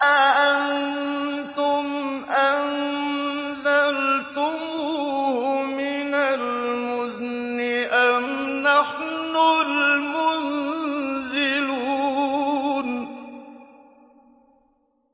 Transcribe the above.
أَأَنتُمْ أَنزَلْتُمُوهُ مِنَ الْمُزْنِ أَمْ نَحْنُ الْمُنزِلُونَ